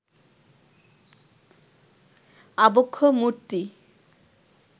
আবক্ষ মূর্তি